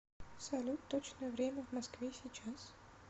салют точное время в москве сейчас